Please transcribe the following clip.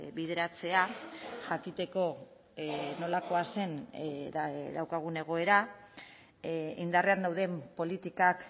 bideratzea jakiteko nolakoa zen daukagun egoera indarrean dauden politikak